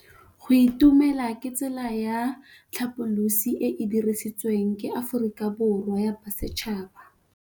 Go itumela ke tsela ya tlhapolisô e e dirisitsweng ke Aforika Borwa ya Bosetšhaba.